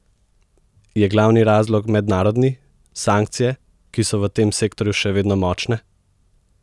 Je glavni razlog mednarodni, sankcije, ki so v tem sektorju še vedno močne?